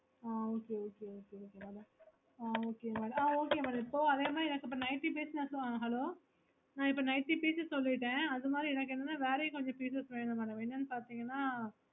ஆஹ் okay okay okay mam ஆஹ் okay mam ஆஹ் okay madam இப்போ அதே மாதிரி இப்போ எனக்கு ninety pieces hello ந இப்போ ninety pieces சொல்லிட்டேன் அது மாதிரி எனக்கு வேரையும் கொஞ்ச pieces வேணும் madam என்னனு பாத்தீங்கன்னா